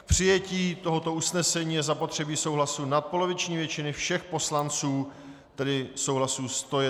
K přijetí tohoto usnesení je zapotřebí souhlasu nadpoloviční většiny všech poslanců, tedy souhlasu 101 poslance.